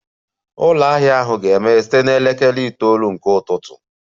Ụlọ ahịa ahụ ga-emeghe site na elekere itoolu nke ụtụtụ